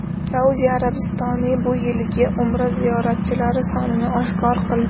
Saudiya Arabistoni bu yilgi Umra ziyoratchilari sonini oshkor qildi.